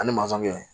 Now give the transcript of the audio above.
Ani kɛ